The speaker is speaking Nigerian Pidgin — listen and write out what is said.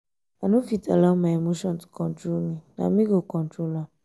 i no fit allow my emotion to control me na me go control am.